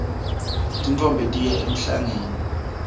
tintfombi tiya emhlangeni